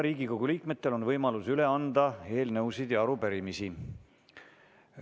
Riigikogu liikmetel on võimalus üle anda eelnõusid ja arupärimisi.